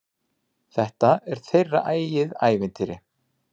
Þetta er þeirra eigið ævintýr.